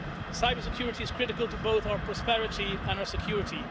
Cybersecurity is critical to both our prosperity and our security.